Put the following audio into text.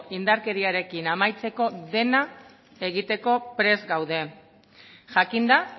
indarkeriarekin amaitzeko dena egiteko prest gaude jakinda